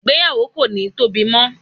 igbeyawo ko ni Tobi mo